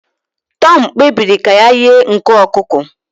Tom kpebiri ka ya ighe nku ọkụkọ